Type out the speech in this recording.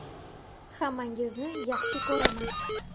Hammangizni yaxshi ko‘raman.